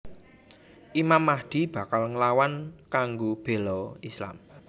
Imam Mahdi bakal nglawan kanggo béla Islam